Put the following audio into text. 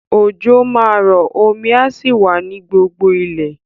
Òjò máa rọ, omi á sì wà ní gbogbo ilẹ̀.